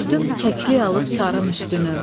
Gördüm kəklik alıb sarın üstünü.